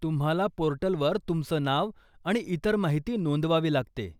तुम्हाला पोर्टलवर तुमचं नाव आणि इतर माहिती नोंदवावी लागते.